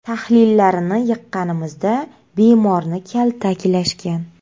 Tahlillarini yiqqanimizda bemorni kaltaklashgan.